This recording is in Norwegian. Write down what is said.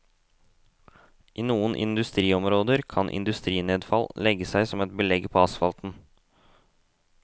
I noen industriområder kan industrinedfall legge seg som et belegg på asfalten.